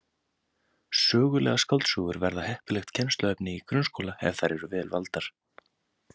Sögulegar skáldsögur verða heppilegt kennsluefni í grunnskóla ef þær eru vel valdar.